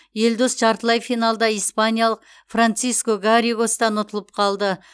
елдос жартылай финалда испаниялық франциско гарригостан ұтылып қалды